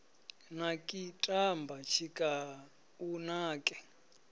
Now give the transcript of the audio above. naki tamba tshika u nake